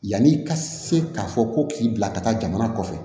Yanni i ka se k'a fɔ ko k'i bila ka taa jamana kɔfɛ